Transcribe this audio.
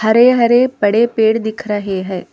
हरे हरे बड़े पेड़ दिख रहे हैं।